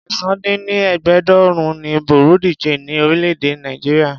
ẹ̀sán -dín- ní- ẹgbẹ́ẹ́ẹdógún ni bureau de change ni orílè-èdè Nàìjíríà.